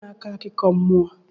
Kedụ onye na-akọ akụkọ mmụọ?